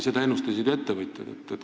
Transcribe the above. Seda ennustasid ettevõtjad.